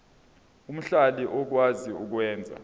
omhlali okwazi ukwenza